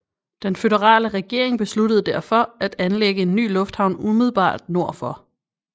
Den føderale regering besluttede derfor at anlægge en ny lufthavn umiddelbart nord for